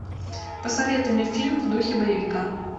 посоветуй мне фильм в духе боевика